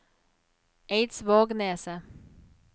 Eidsvågneset